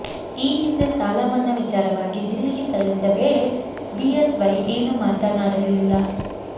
ಈ ಹಿಂದೆ ಸಾಲಮನ್ನಾ ವಿಚಾರವಾಗಿ ದಿಲ್ಲಿಗೆ ತೆರಳಿದ್ದ ವೇಳೆ ಬಿಎಸ್ವೈ ಏನೂ ಮಾತನಾಡಲಿಲ್ಲ